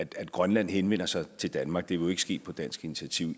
grønland henvender sig til danmark det jo ikke ske på dansk initiativ